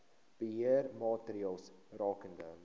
beheer maatreëls rakende